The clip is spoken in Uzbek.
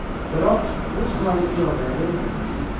Biroq bu ham yordam bermagan.